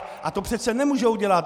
A to přece nemůžou dělat.